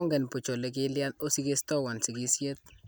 Mongen buch ole kilyan osikistewon sikisyet